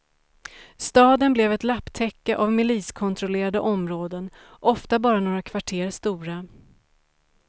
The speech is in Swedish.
Staden blev ett lapptäcke av miliskontrollerade områden, ofta bara några kvarter stora.